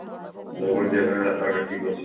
ଜଉଗଡ ଯିବା ପାଇଁ ରାସ୍ତା ଘାଟ ଠିକ ଅଛି